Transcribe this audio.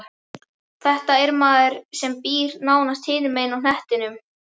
Þetta er maður sem býr nánast hinum megin á hnettinum.